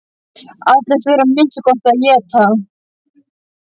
Allir þurfa að minnsta kosti að éta.